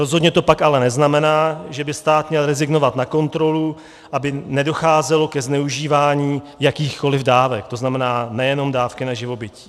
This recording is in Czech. Rozhodně to pak ale neznamená, že by stát měl rezignovat na kontrolu, aby nedocházelo ke zneužívání jakýchkoliv dávek, to znamená nejenom dávky na živobytí.